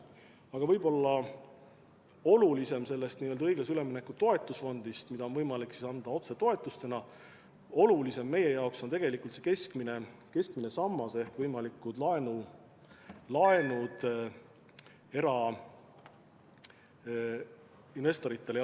Aga võib-olla olulisem kui see õiglase ülemineku toetusfond, mille raha on võimalik anda otsetoetustena, on meie jaoks tegelikult see keskmine sammas ehk võimalikud laenud erainvestoritele.